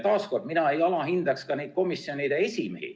Taas, mina ei alahindaks ka komisjoni esimehi.